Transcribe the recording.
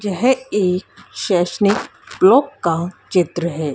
यह एक sessions clock का चित्र है।